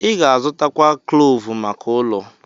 Ị ga-azụtakwu kloovu maka ụlọ.